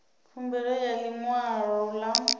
khumbelo ya ḽi ṅwalo ḽa